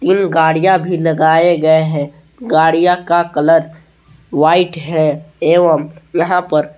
इन गाड़ियां भी लगाए गए हैं गाडियां का कलर व्हाइट है एवं यहां पर--